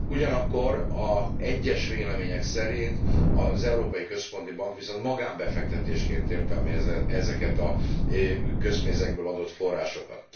Ugyanakkor egyes vélemények szerint az Európai Központi Bank viszont magánbefektetésként értelmezi ezeket a közpénzekből adott forrásokat.